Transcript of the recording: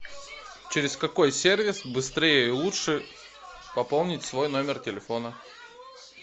через какой сервис быстрее и лучше пополнить свой номер телефона